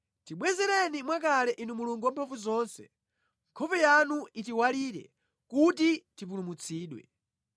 Tibwezereni mwakale Inu Mulungu Wamphamvuzonse, nkhope yanu itiwalire kuti tipulumutsidwe.